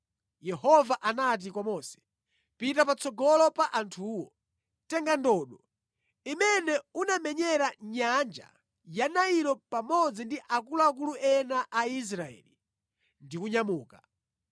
Yehova anati kwa Mose, “Pita patsogolo pa anthuwo. Tenga ndodo imene unamenyera nyanja ya Nailo pamodzi ndi akuluakulu ena a Israeli ndi kunyamuka.